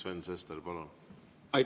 Sven Sester, palun!